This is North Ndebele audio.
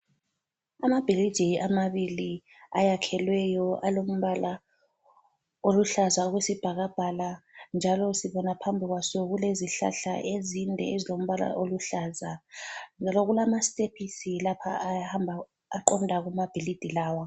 Amabhilidi amabili ayakhelweyo alombala oluhlaza okwesibhakabhaka njalo sibona phambi kwaso kulezihlahla ezinde ezilombala oluhlaza njalo kulamastephisi lapha aqonda kumabhilidi lawa.